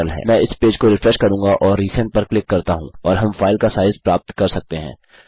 मैं इस पेज को रिफ्रेश करूँगा और रिसेंड पर क्लिक करता हूँ और हम फाइल का साइज़ प्राप्त कर सकते हैं